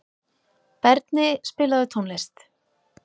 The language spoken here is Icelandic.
Berni, spilaðu tónlist.